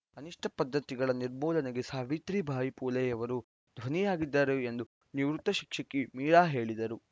ಅನಿಷ್ಟಪದ್ದತಿಗಳ ನಿರ್ಮೂಲನೆಗೆ ಸಾವಿತ್ರಿ ಬಾಯಿ ಪುಲೆಯವರು ಧ್ವ್ವನಿಯಾಗಿದ್ದರು ಎಂದು ನಿವೃತ್ತ ಶಿಕ್ಷಕಿ ಮೀರಾ ಹೇಳಿದರು